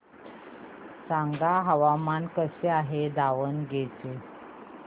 सांगा हवामान कसे आहे दावणगेरे चे